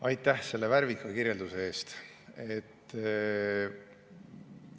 Aitäh selle värvika kirjelduse eest!